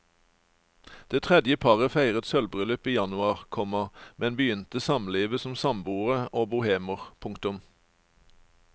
Det tredje paret feiret sølvbryllup i januar, komma men begynte samlivet som samboere og bohemer. punktum